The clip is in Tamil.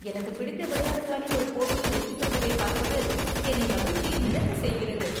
எனக்குப் பிடித்த விளையாட்டு அணி ஒரு போட்டியில் வெற்றி பெறுவதைப் பார்ப்பது என்னை மகிழ்ச்சியில் மிதக்கச் செய்கிறது.